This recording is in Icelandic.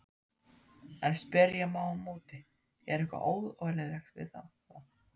En spyrja má á móti, er eitthvað óeðlilegt við þetta?